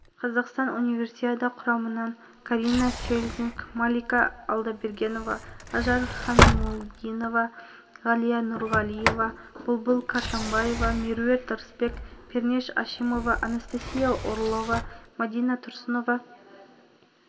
айта кетейік димаш құдайбергенов байқаудың бірінші кезеңінде әнін орындап жеңімпаз атанған бұл конкурста барлығы